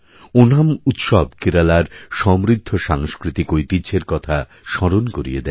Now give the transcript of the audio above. ওনাম উৎসবকেরালার সমৃদ্ধ সাংস্কৃতিক ঐতিহ্যের কথা স্মরণ করিয়ে দেয়